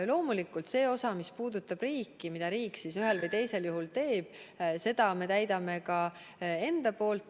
Loomulikult, seda osa, mis puudutab riiki, mida riik ühel või teisel juhul teeb, me täidame ise.